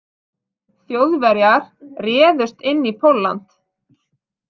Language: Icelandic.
Þjóðverjar réðust inn í Pólland.